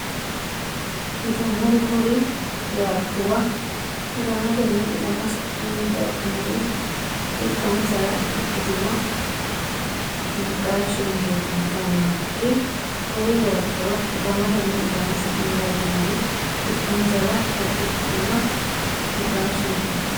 Yitannori kuri yaattuwa ilamatenni ilama sa’anni dagginorie ikkansara ikkitino naqaashshenkeeti Yitannori kuri yaattuwa ilamatenni ilama sa’anni dagginorie ikkansara ikkitino naqaashshenkeeti.